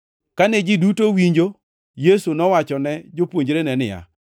Kane ji duto winjo, Yesu nowachone jopuonjrene niya,